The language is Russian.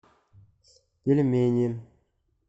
пельмени